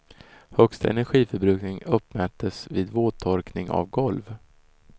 Högsta energiförbrukning uppmättes vid våttorkning av golv.